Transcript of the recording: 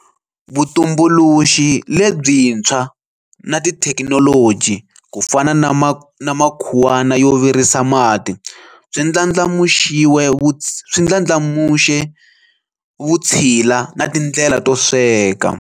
Vutumbuluxi lebyi ntshwa na tithekinoloji, kufana na makhuwana yo virisa mati, swi ndlandlamuxe vutshila na tindlela to sweka.